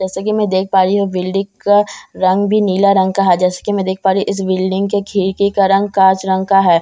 जैसे कि मैं देख पा रही हूं बिल्डिक का रंग भी नीला रंग का है जैसे कि मैं देख पा रही इस बिल्डिंग के खिरकी का रंग काच रंग का है।